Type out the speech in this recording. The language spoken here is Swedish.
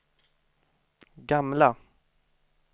gamla